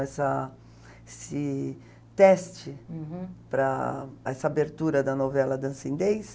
Essa esse teste, uhum, para essa abertura da novela Dança